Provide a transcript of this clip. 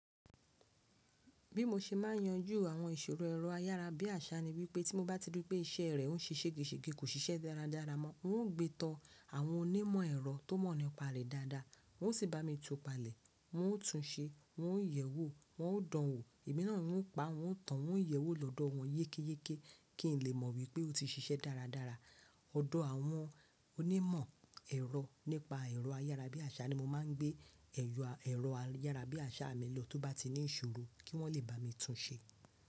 Bí mo ṣe máà ń yanjú àwọn ìṣòro ẹ̀rọ ayára bí àṣá ni wípé tí mo bá ti rí pé iṣẹ́ rẹ ń ṣiṣẹ́ géṣègé kò ṣiṣẹ́ dáradára mọ́, n ó gbé tán àwọn onímọ̀ ẹ̀rọ tó mọ̀ nípa rẹ̀ dáadáa wọ́n sì bá mi tùú palẹ̀, wọ́n ó tún un ṣe, wọ́n ó yẹ̀wò, wọ́n ó dán an wò, ẹ̀mí náà ni wọ́n pa, wọ́n tan, wọ́n yẹ̀wò lọ́dọ̀ wọn yékéyéké kí n lè mọ̀ wípé ó ti ṣiṣẹ́ dáradára. Ọ̀dọ̀ àwọn onímọ̀ ẹ̀rọ nípa ẹ̀rọ ayára bí àṣá ni màá ń gbé ẹ̀yọ ẹ̀rọ ayára bí àṣá mi lọ tó bá ti ní ìṣòro kí wọ́n lè bá mi tún ṣé.